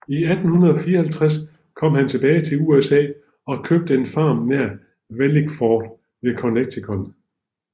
I 1854 kom han tilbage til USA og købte en farm nær Wallingford i Connecticut